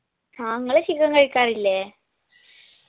ആ നിങ്ങള് chicken കഴിക്കാറില്ലേ